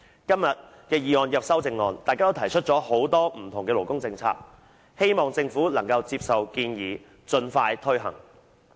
今天的議案及修正案提出很多不同的勞工政策，希望政府能夠接受建議，盡快推行。